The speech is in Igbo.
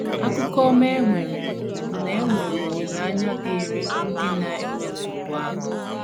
Akụkọ ọma e nwere bụ na e nwere olileanya dịịrị ndị na - enwe nsogbu ahụ.